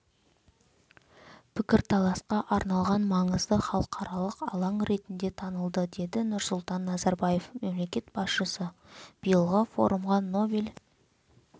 пікірталасқа арналған маңызды халықаралық алаң ретінде танылды деді нұрсұлтан назарбаев мемлекет басшысы биылғы форумға нобель